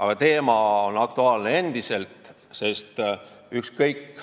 Aga teema on endiselt aktuaalne, sest ükskõik